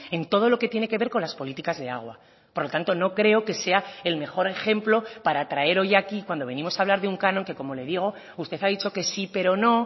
en todo lo que tiene que ver con las políticas de agua por lo tanto no creo que sea el mejor ejemplo para traer hoy aquí cuando venimos a hablar de un canon que como le digo usted ha dicho que sí pero no